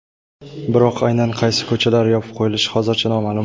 Biroq aynan qaysi ko‘chalar yopib qo‘yilishi hozircha noma’lum.